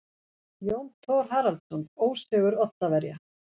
Jón Thor Haraldsson: Ósigur Oddaverja.